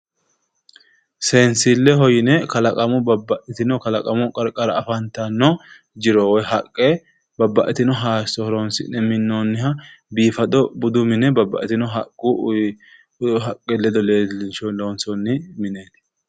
Seensilleho yine kalaqamu babbaxxitino kalaqamu qarqara afantanno jiro woyi haqqe babbaxxitino hayisso horoonsi'ne minnoonniha biifado budu mine babbaxxitino haqqu haqqe ledo leellinshe loonsoonni mineeti.